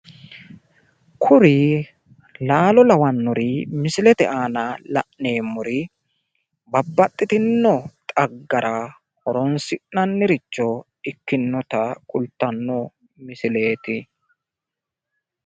Kuri laalo lawannori misilete aana la'neemmori babbaxxitinno xaggara horonsi'nanniricho ikkinota kultanno misileeti.